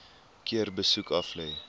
keer besoek aflê